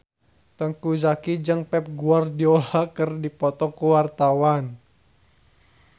Teuku Zacky jeung Pep Guardiola keur dipoto ku wartawan